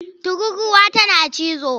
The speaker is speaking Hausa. Tururruwa tana cizo.